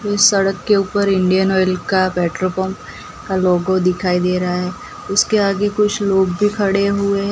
कोई सड़क के ऊपर इंडियन ऑयल का पेट्रोल पंप का लोगो दिखाई दे रहा है उसके आगे कुछ लोग भी खड़े हुए--